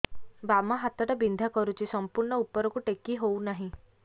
ବାମ ହାତ ଟା ବିନ୍ଧା କରୁଛି ସମ୍ପୂର୍ଣ ଉପରକୁ ଟେକି ହୋଉନାହିଁ